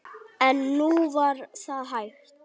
En nú var það hætt.